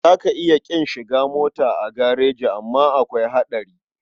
Za ka iya ƙin shiga mota a gareji amma akwai haɗari.